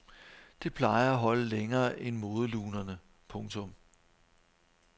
Det plejer at holde længere end modelunerne. punktum